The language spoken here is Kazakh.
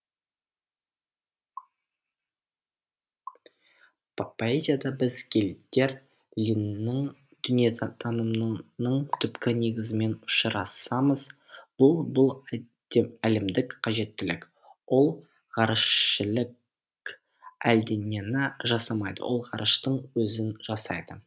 поэзияда біз гельдер линнің дүниетанымының түпкі негізімен ұшырасамыз бұл бұл әлемдік қажеттілік ол ғарышішілік әлденені жасамайды ол ғарыштың өзін жасайды